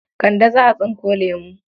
Kande za a tsinko lemo.